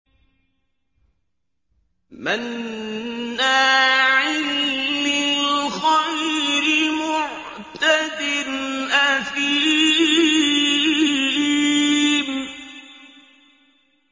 مَّنَّاعٍ لِّلْخَيْرِ مُعْتَدٍ أَثِيمٍ